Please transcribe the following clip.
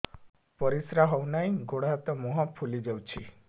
ପରିସ୍ରା ହଉ ନାହିଁ ଗୋଡ଼ ହାତ ମୁହଁ ଫୁଲି ଯାଉଛି